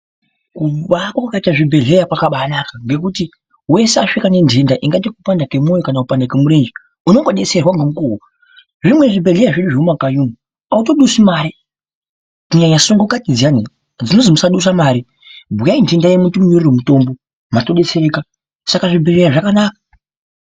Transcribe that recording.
Kubaakwa kwakaita zvibhehleya kwakambanaka nekuti hweshe asvika nendenda ingaya yekupanda kwemiri kana kupanda kwemirenje unongodetserwa nemukuwo. Zvimweni zvibhehleya zviri mumakanyi hautodusi mare kunyanya sungukati dziyani dzinonzi musadusa mari dzinonzi bhuyayi ndoenda yenyu timunyorere mutombo saka zvibhehleya zvakanaka.